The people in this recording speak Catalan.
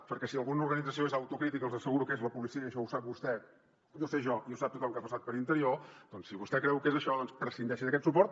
perquè si alguna organització és autocrítica els asseguro que és la policia i això ho sap vostè ho sé jo i ho sap tothom que ha passat per interior doncs si vostè creu que és això prescindeixi d’aquest suport